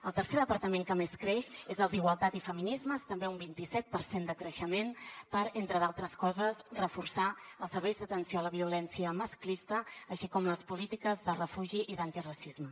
el tercer departament que més creix és el d’igualtat i feminismes també un vintiset per cent de creixement per entre d’altres coses reforçar els serveis d’atenció a la violència masclista així com les polítiques de refugi i d’antiracisme